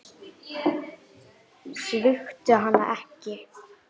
Svíktu hana ekki.